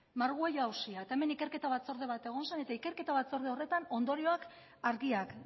margüello auzia eta hemen ikerketa batzorde bat egon zen eta ikerketa batzorde horretan ondorioak argiak